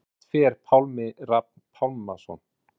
Hvert fer Pálmi Rafn Pálmason?